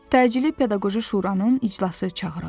Təcili pedaqoji şuranın iclası çağırıldı.